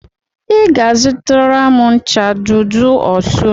Ị ga-azụtara m ncha Dudu Osun